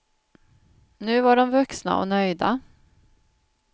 Nu var de vuxna och nöjda.